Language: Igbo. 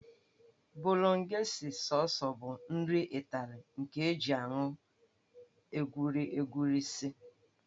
Bolognese Sọọs bụ nri Ịtali nke e ji anụ egweri egweri sie.